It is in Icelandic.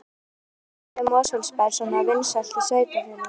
En af hverju er Mosfellsbær svona vinsælt sveitarfélag?